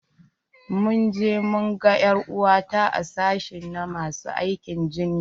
Mun je mu gan er'uwarta a sashi na masu aikin jinya.